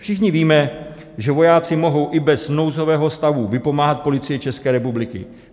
Všichni víme, že vojáci mohou i bez nouzového stavu vypomáhat Policii České republiky.